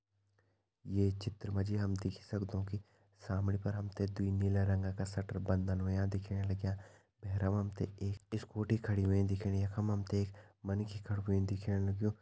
ये चित्र मा जी हम देखि सक्दोन कि सामणी पर हम ते दुई नीला रंगा का शटर बंदन होयां दिखेण लग्यां भैरम हम ते एक स्कूटी खड़ी होईं दिखेणी यख मा हम ते एक मन्खि खड़ु कुई दिखेण लग्युं।